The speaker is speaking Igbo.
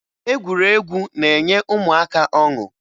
Egwuregwu na-enye ụmụaka ọṅụ